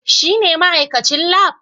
Shine ma'aikacin Lab?